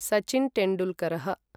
Sachin टेण्डुल्करः